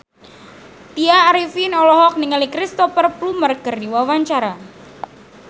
Tya Arifin olohok ningali Cristhoper Plumer keur diwawancara